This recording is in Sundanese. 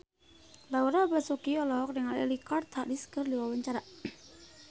Laura Basuki olohok ningali Richard Harris keur diwawancara